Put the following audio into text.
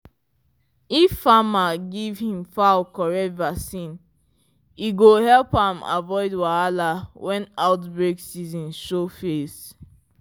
if farmer give him fowl correct vaccine e go help am avoid wahala when outbreak season show face.